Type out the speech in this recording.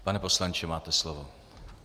Pane poslanče, máte slovo.